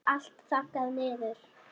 Það er allt þaggað niður.